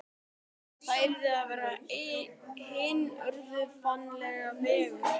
Það yrði að vera hinn órjúfanlegi veggur.